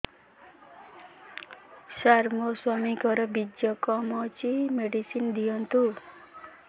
ସାର ମୋର ସ୍ୱାମୀଙ୍କର ବୀର୍ଯ୍ୟ କମ ଅଛି ମେଡିସିନ ଦିଅନ୍ତୁ